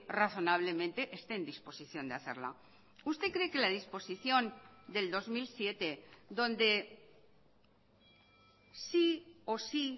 razonablemente esté en disposición de hacerla usted cree que la disposición del dos mil siete donde sí o sí